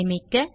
சேமிக்க